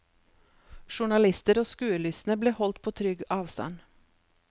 Journalister og skuelystne ble holdt på trygg avstand.